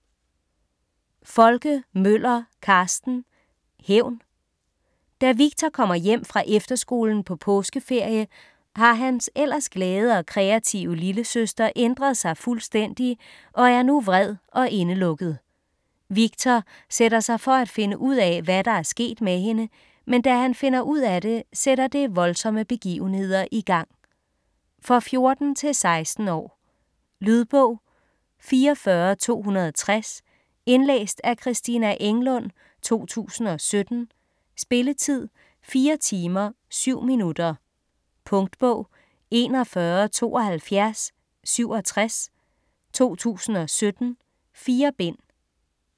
Folke Møller, Carsten: Hævn Da Victor kommer hjem fra efterskolen på påskeferie, har hans ellers glade og kreative lillesøster ændret sig fuldstændig og er nu vred og indelukket. Victor sætter sig for at finde ud af, hvad der er sket med hende, men da han finder ud af det, sætter det voldsomme begivenheder i gang. For 14-16 år. Lydbog 44260 Indlæst af Christina Englund, 2017. Spilletid: 4 timer, 7 minutter. Punktbog 417267 2017. 4 bind.